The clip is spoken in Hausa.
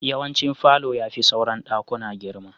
Yawancin falo ya fi sauran daƙuna girma.